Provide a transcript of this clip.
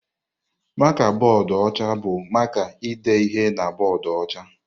Maka bọọdụ ọcha bụ maka ide ihe na bọọdụ ọcha.